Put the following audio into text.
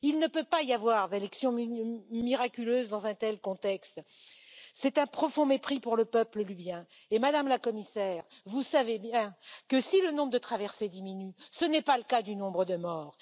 Il ne peut pas y avoir d'élections miraculeuses dans un tel contexte. C'est un profond mépris pour le peuple libyen et Madame la Commissaire, vous savez bien que si le nombre de traversées diminue, ce n'est pas le cas du nombre de morts.